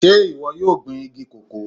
Sé ìwọ yóò gbin igi cocoa?